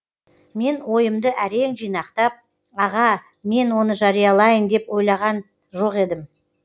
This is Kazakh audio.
мен ойымды әрең жинақтап аға мен оны жариялайын деп ойлаған жоқ едім